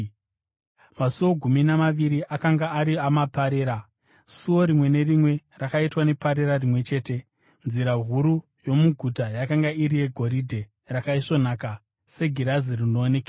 Masuo gumi namaviri akanga ari amaparera, suo rimwe nerimwe rakaitwa neparera rimwe chete. Nzira huru yomuguta yakanga iri yegoridhe rakaisvonaka segirazi rinoonekera.